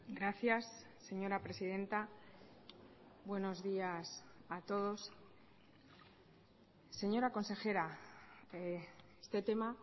gracias señora presidenta buenos días a todos señora consejera este tema